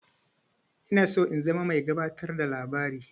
Ina son in zama mai gabatar da labari.